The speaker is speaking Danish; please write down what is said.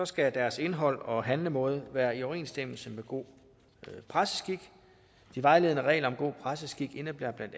skal deres indhold og handlemåde være i overensstemmelse med god presseskik de vejledende regler om god presseskik indebærer bla